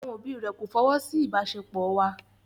Àwọn òbí rẹ̀ kò fọwọ́ sí ìbáṣepọ̀ wa.